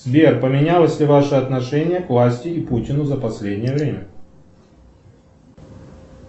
сбер поменялось ли ваше отношение к власти и путину за последнее время